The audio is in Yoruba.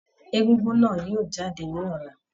Egúngún náà yóò jáde ní ọlá.